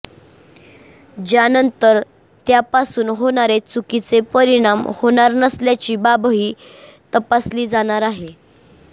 ज्यानंतर त्यापासून होणारे चुकीचे परिणाम होणार नसल्याची बाबही तपासली जाणार आहे